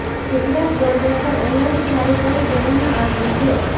Gujarat border પર alert જારી કરી દેવામાં આવ્યું છે